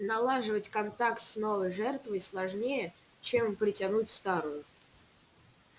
налаживать контакт с новой жертвой сложнее чем притянуть старую